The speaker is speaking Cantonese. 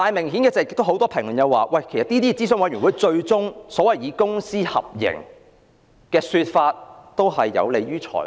可是，正如很多人指出，諮詢委員會提出所謂公私合營的說法，最終也是有利於財團。